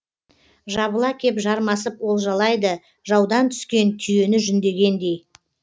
жабыла кеп жармасып олжалайды жаудан түскен түйені жүндегендей